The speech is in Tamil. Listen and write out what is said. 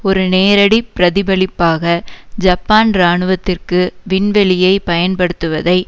ஒரு நேரடி பிரதிபலிப்பாக ஜப்பான் இராணுவத்திற்கு விண்வெளியை பயன்படுத்துவதை